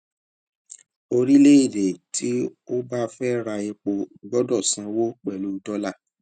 orílẹèdè tí ó bá fẹ ra epo gbọdọ sanwó pẹlú dọlà